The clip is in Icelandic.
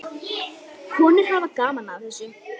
Konur hafa gaman af þessu.